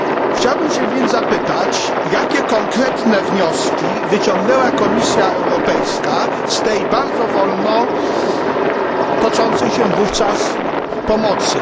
Chciałbym się więc zapytać, jakie konkretne wnioski wyciągnęła Komisja Europejska z tej bardzo wolno toczącej się wówczas pomocy?